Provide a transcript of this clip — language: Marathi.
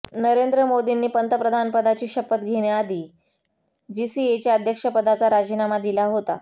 नरेंद्र मोदींनी पंतप्रधानपदाची शपथ घेण्याआधी जीसीएच्या अध्यक्षपदाचा राजीनामा दिला होता